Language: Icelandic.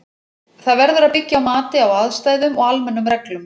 Það verður að byggja á mati á aðstæðum og almennum reglum.